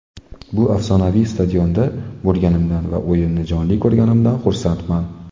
Bu afsonaviy stadionda bo‘lganimdan va o‘yinni jonli ko‘rganimdan xursandman.